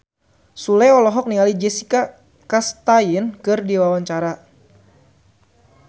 Sule olohok ningali Jessica Chastain keur diwawancara